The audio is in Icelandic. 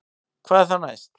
Hvað er þá næst